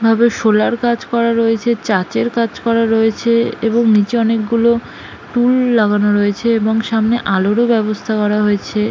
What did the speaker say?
ভাবে সোলার কাজ করা রয়েছে চাচেরর কাজ করা রয়েছে এবং নিচে অনেকগুলো টুল লাগানো রয়েছে এবং সামনে আলোরও ব্যবস্থা করা হয়েছে।